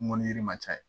Mɔnni ma ca